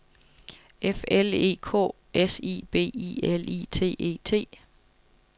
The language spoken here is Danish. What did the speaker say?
F L E K S I B I L I T E T